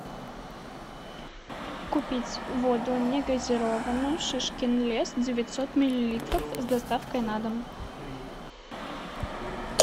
купить воду негазированную шишкин лес девятьсот миллилитров с доставкой на дом